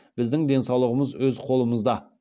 біздің денсаулығымыз өз қолымызда